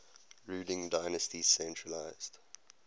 ruling dynasty centralised